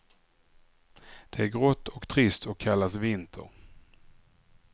Det är grått och trist och kallas vinter.